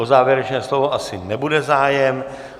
O závěrečné slovo asi nebude zájem.